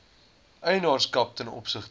eienaarskap ten opsigte